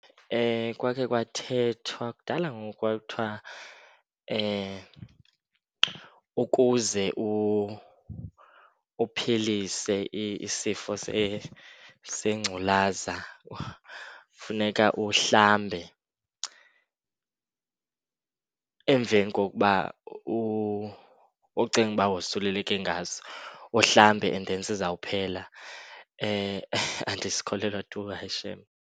Kwakhe kwathethwa, kudala ngoku kwakuthiwa ukuze uphilise isifo sengculaza funeka uhlambe emveni kokuba ucinga uba wosululeke ngaso, uhlambe and then sizawuphela. Andisikholelwa tu, hayi shem.